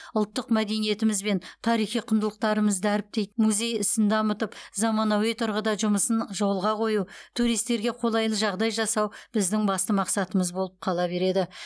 ұлттық мәдениетіміз бен тарихи құндылықтарымызды дәріптейтін музей ісін дамытып заманауи тұрғыда жұмысын жолға қою туристерге қолайлы жағдай жасау біздің басты мақсатымыз болып қала береді